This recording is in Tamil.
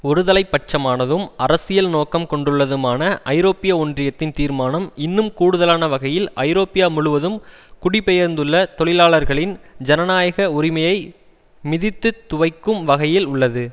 ஒருதலை பட்சமானதும் அரசியல் நோக்கம் கொண்டுள்ளதுமான ஐரோப்பிய ஒன்றியத்தின் தீர்மானம் இன்னும் கூடுதலான வகையில் ஐரோப்பா முழுவதும் குடிபெயர்ந்துள்ள தொழிலாளர்களின் ஜனநாயக உரிமையை மிதித்து துவைக்கும் வகையில் உள்ளது